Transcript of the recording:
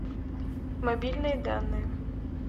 мобильные данные